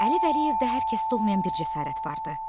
Əli Vəliyevdə hər kəsdə olmayan bir cəsarət vardı.